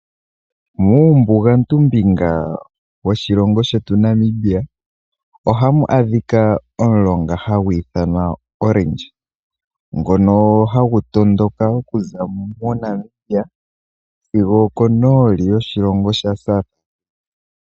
Muumbugantu mbinga woshilongo shetu Namibia ohamu adhika omulonga hagu ithanwa Orange, ngono hagu tondoka okuza MoNamibia sigo okonooli yoshilongo sha South.